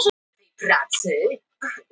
Tólf dagar eru í að félagaskiptaglugginn loki.